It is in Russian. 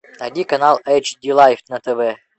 найди канал эйч ди лайф на тв